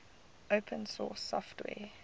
open source software